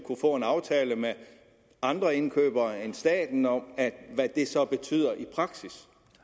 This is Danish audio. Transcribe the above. få en aftale med andre indkøbere end staten om hvad det så skal betyde i praksis